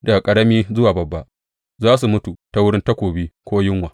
Daga ƙarami zuwa babba, za su mutu ta wurin takobi ko yunwa.